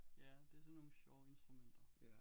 Ja det er sådan nogle sjove instrumenter